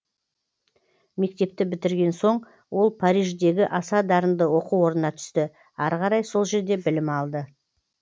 мектепті бітірген соң ол париждегі аса дарынды оқу орнына түсті ары қарай сол жерде білім алды